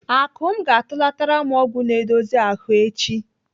Akụm ga-atụlatara m ọgwụ na-edozi ahụ echi.